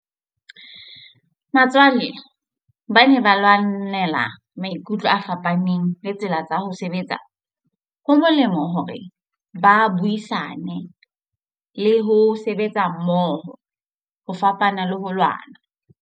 Batswalle ba ne ba lwanela maikutlo a fapaneng le tsela tsa ho sebetsa. Ho molemo hore ba buisane le ho sebetsa mmoho ho fapana le ho lwana.